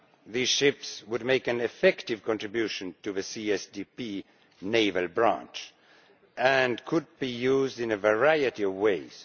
These ships would make an effective contribution to the CSDP naval branch and could be used in a variety of ways.